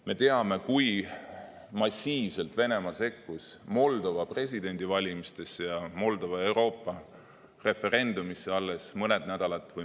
Me teame, kui massiivselt Venemaa sekkus Moldova presidendivalimistesse ja Moldova Euroopa-referendumisse alles mõned kuud tagasi.